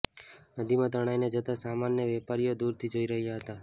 નદીમાં તણાઇને જતા સામાનને વેપારીઓ દુરથી જોઇ રહ્યા હતા